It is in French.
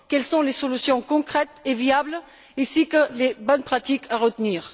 Quelles sont les solutions concrètes et viables, ainsi que les bonnes pratiques à retenir?